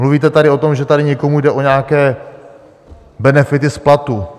Mluvíte tady o tom, že tady někomu jde o nějaké benefity z platu.